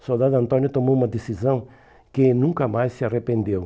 O soldado Antônio tomou uma decisão que nunca mais se arrependeu.